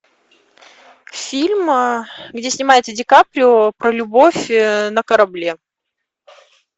фильм где снимается ди каприо про любовь на корабле